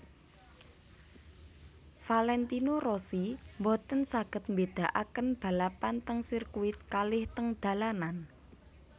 Valentino Rossi mboten saget mbedaaken balapan teng sirkuit kalih teng dalanan